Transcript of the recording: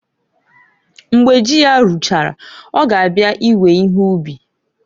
Mgbe ji ya ruchara ọ ga abịa iwe ihe ub.